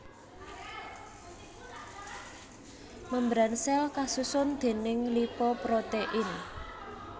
Membran sèl kasusun déning lipoprotein